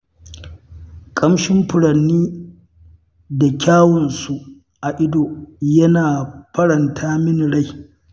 Ƙamshin furanni da kyawunsu a ido yana faranta min rai.